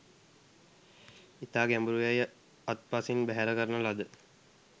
ඉතා ගැඹුරු යැයි අත්පසින් බැහැර කරන ලද